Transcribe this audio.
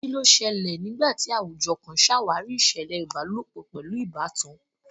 Kí ló ṣẹlẹ̀ nígbà tí àwùjọ kan ṣàwárí ìṣẹ̀lẹ̀ ìbálòpọ̀ pẹ̀lú ìbátan?